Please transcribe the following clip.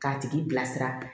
K'a tigi bilasira